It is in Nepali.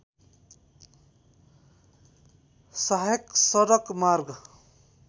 सहायक सडक मार्ग